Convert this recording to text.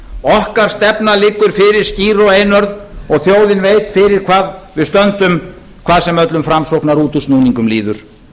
okkar stefna liggur fyrir skýr og einörð og þjóðin veit fyrir hvað við stöndum hvað sem öllum framsóknarútúrsnúningum líður